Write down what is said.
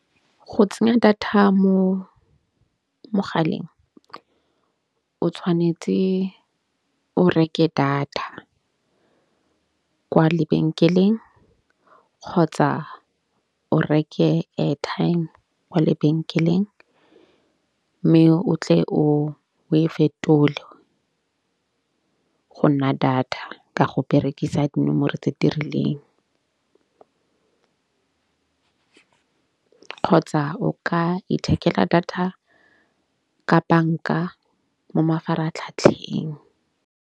Go tsenya data mo mogaleng o tshwanetse o reke data kwa lebenkeleng kgotsa o reke airtime kwa lebenkeleng. Mme o tle o o e fetole go nna data ka go berekisa dinomoro tse dirileng kgotsa o ka ithekela data ka banka mo mafaratlhatlheng.